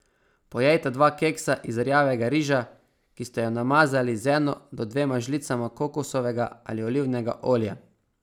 Pojejte dva keksa iz rjavega riža, ki ste ju namazali z eno do dvema žlicama kokosovega ali olivnega olja.